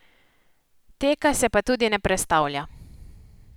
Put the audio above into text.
Teka se pa tudi ne prestavlja.